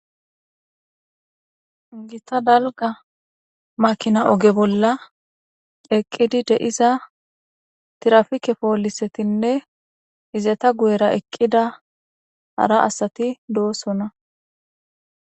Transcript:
Gitta dalga makina oge bolla eqqidi de'iza tirafike poolisetinne izeta guyera eqqida hara asati doosona.